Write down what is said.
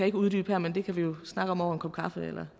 ikke uddybe her men det kan vi snakke om over en kop kaffe eller